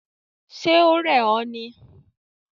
Ṣe o rẹ ọ ni?